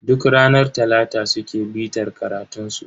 Duk ranar talata suke bitar karatunsu